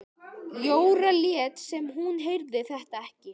Jóra lét sem hún heyrði þetta ekki.